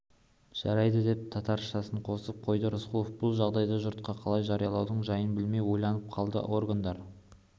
жарайды деп татаршасын қосып қойды рысқұлов бұл жағдайды жұртқа қалай жариялаудың жайын білмей ойланып қалды органдар